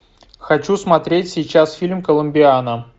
хочу смотреть сейчас фильм коломбиана